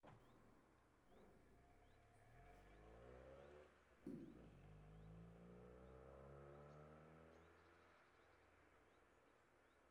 Qaar baa u haysta buro aan kansar lahayn, qaar kalena hamartoma (burada sida korriinka oo kale) ama cyst.